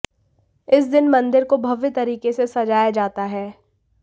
इस दिन मंदिर को भव्य तरीके से सजाया जाता है